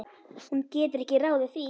Hún getur ekki ráðið því.